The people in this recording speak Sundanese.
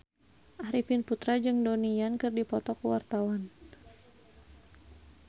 Arifin Putra jeung Donnie Yan keur dipoto ku wartawan